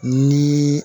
Ni